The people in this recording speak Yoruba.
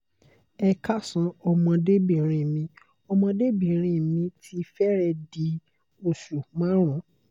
ẹ káàsán ọmọde obinrin mi ọmọde obinrin mi ti fẹrẹẹ di osu marun